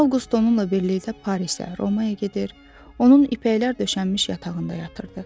Avqust onunla birlikdə Parisə, Romaya gedir, onun ipəklər döşənmiş yatağında yatırdı.